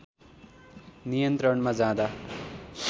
नियन्त्रणमा जाँदा